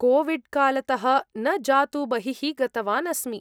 कोविड्कालतः न जातु बहिः गतवान् अस्मि।